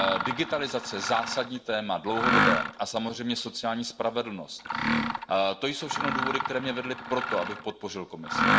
Digitalizace zásadní, dlouhodobé téma a samozřejmě sociální spravedlnost, to jsou všechno důvody, které mě vedly k tomu, abych podpořil Komisi.